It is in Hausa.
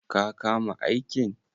Ka kama aikin?